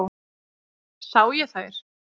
Sá ég þær.